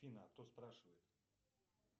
афина а кто спрашивает